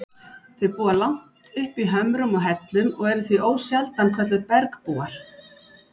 Þau búa langt uppi í hömrum og hellum og eru því ósjaldan kölluð bergbúar.